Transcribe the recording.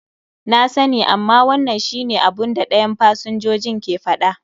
Na sani, amma wannan shi ne abun da dayan fsinjojin ke faɗa.